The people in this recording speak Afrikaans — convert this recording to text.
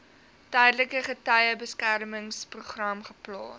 tydelike getuiebeskermingsprogram geplaas